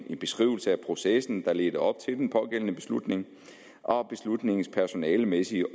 en beskrivelse af processen der ledte op til den pågældende beslutning og beslutningens personalemæssige